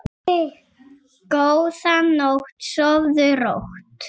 Góða nótt, sofðu rótt.